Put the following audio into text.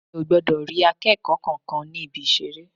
Mi ò gbọdọ̀ rí akẹ́kọ̀ọ́ kankan ní Ibi-ìṣeré.